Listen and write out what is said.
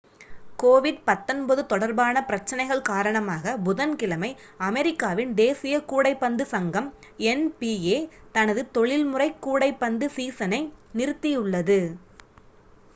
covid-19 தொடர்பான பிரச்சனைகள் காரணமாகப் புதன்கிழமை அமெரிக்காவின் தேசிய கூடைப்பந்து சங்கம் nba தனது தொழில்முறை கூடைப்பந்து சீசனை நிறுத்தியுள்ளது